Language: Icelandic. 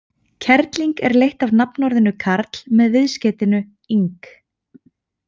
Kerling er leitt af nafnorðinu karl með viðskeytinu-ing.